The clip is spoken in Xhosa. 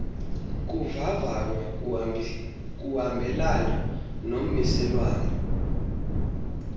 kuvavanywa kuhambelana nommiselwana